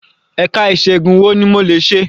Ẹ̀ka ìṣègun wo ni mo lè ṣe?